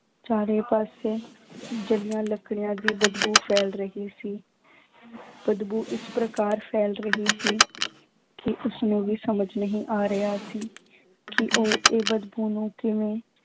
ਚਾਰੇ ਪਾਸੇ ਜਲੀਆਂ ਲੱਕੜੀਆਂ ਦੀ ਬਦਬੂ ਫੈਲ ਰਹੀ ਸੀ ਬਦਬੂ ਇਸ ਪ੍ਰਕਾਰ ਫੈਲ ਰਹੀ ਸੀ ਕਿ ਉਸਨੂੰ ਵੀ ਸਮਝ ਨਹੀਂ ਆ ਰਿਹਾ ਸੀ ਕਿ ਉਹ ਇਹ ਬਦਬੂ ਨੂੰ ਕਿਵੇਂ